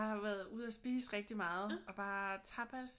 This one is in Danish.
Og har været ude og spise rigtig meget og bare tapas